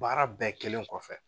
Baara bɛɛ kelen kɔfɛ.